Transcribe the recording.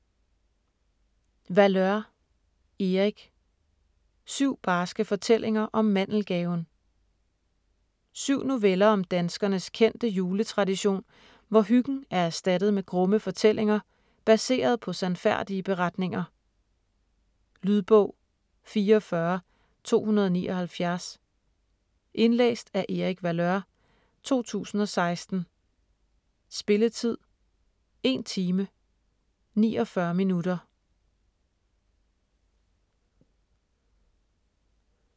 Valeur, Erik: Syv barske fortællinger om mandelgaven 7 noveller om danskernes kendte juletradition, hvor hyggen er erstattet med grumme fortællinger, baseret på sandfærdige beretninger. Lydbog 44279 Indlæst af Erik Valeur, 2016. Spilletid: 1 time, 49 minutter.